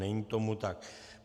Není tomu tak.